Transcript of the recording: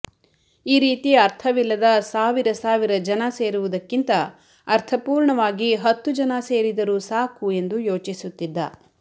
ಈ ರೀತಿ ಅರ್ಥವಿಲ್ಲದ ಸಾವಿರ ಸಾವಿರ ಜನ ಸೇರುವದಕ್ಕಿಂತ ಅರ್ಥಪೂರ್ಣವಾಗಿ ಹತ್ತು ಜನ ಸೇರಿದರು ಸಾಕು ಎಂದು ಯೋಚಿಸುತ್ತಿದ್ದ